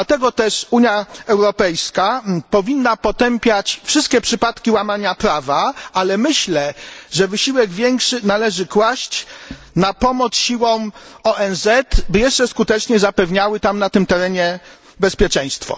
Dlatego też Unia Europejska powinna potępiać wszystkie przypadki łamania prawa, ale myślę, że wysiłek większy należy kłaść na pomoc siłom ONZ, by jeszcze skuteczniej zapewniały tam, na tym terenie, bezpieczeństwo.